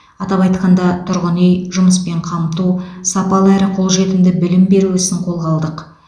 атап айтқанда тұрғын үй жұмыспен қамту сапалы әрі қолжетімді білім беру ісін қолға алдық